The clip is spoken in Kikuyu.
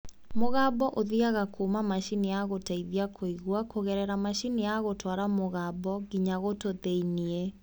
Mũgambo ũthiaga kuma macini ya gũteithia kũigua kũgegera macini ya gũtwara mũgambo nginya gũtũ thĩiniĩ